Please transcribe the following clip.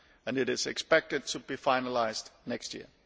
It is expected to be finalised next year.